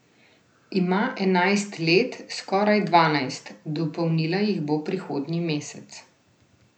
Ima enajst let, skoraj dvanajst, dopolnila jih bo prihodnji mesec.